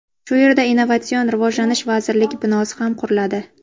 Shu yerda Innovatsion rivojlanish vazirligi binosi ham quriladi.